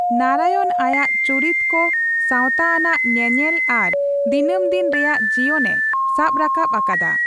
ᱱᱟᱨᱟᱭᱚᱱ ᱟᱭᱟᱜ ᱪᱩᱨᱤᱛᱠᱚ ᱥᱟᱣᱛᱟ ᱟᱱᱟᱜ ᱧᱮᱧᱮᱞ ᱟᱨ ᱫᱤᱱᱟᱹᱢᱫᱤᱱ ᱨᱮᱭᱟ ᱡᱤᱭᱚᱱ ᱮ ᱥᱟᱵ ᱨᱟᱠᱟᱵ ᱟᱠᱟᱫᱟ ᱾